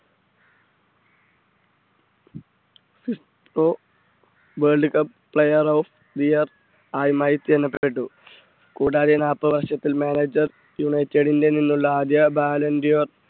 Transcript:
FIFA world cup player of the year ആയുമായി തിരഞ്ഞെടുക്കപ്പെട്ടു. കൂടാതെ നാല്പത് വർഷത്തിൽ manager യുണൈറ്റഡിൽ നിന്നുള്ള ആദ്യ volende ar